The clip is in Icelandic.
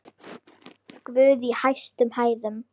Guð í hæstum hæðum!